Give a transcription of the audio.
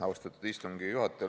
Austatud istungi juhataja!